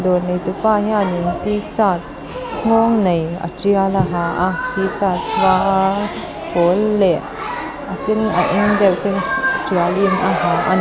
dawr neitupa hianin t shirt nghawng nei a tial a ha a t shirt pawl leh a sen a eng deuh te tial in a ha a--